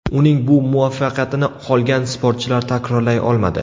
Uning bu muvaffaqiyatini qolgan sportchilar takrorlay olmadi.